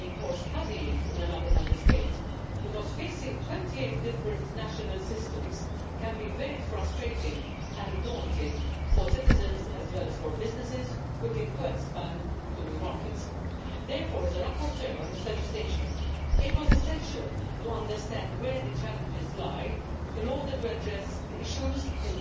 level. Last, but not least, I would like to express my gratitude to the shadow rapporteurs, to the Commission and to the Bulgarian Presidency for their open and collaborative work on this report. We worked under extreme pressure and to a strict